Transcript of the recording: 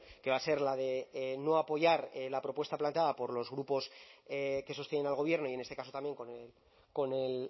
que va a ser la de no apoyar la propuesta planteada por los grupos que sostienen al gobierno y en este caso también con el